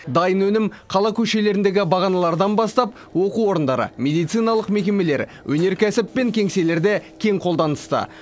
дайын өнім қала көшелеріндегі бағаналардан бастап оқу орындары медициналық мекемелер өнеркәсіп пен кеңселерде кең қолданыста